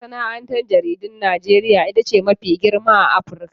Masana'antar jaridun Najeriya ita ce mafi girma a Afirka.